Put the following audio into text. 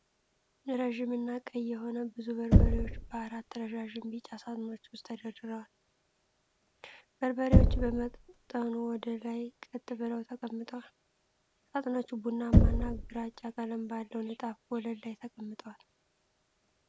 ረጅም እና ቀይ የሆኑ ብዙ በርበሬዎች በአራት ረዣዥም ቢጫ ሳጥኖች ውስጥ ተደርድረዋል። በርበሬዎቹ በመጠኑ ወደ ላይ ቀጥ ብለው ተቀምጠዋል። ሳጥኖቹ ቡናማና ግራጫ ቀለም ባለው ንጣፍ ወለል ላይ ተቀምጠዋል።